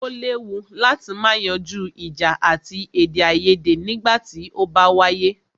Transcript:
O léwu láti má yanjú ìjà àti èdèaiyèdè nígbà tí o bá wáyé.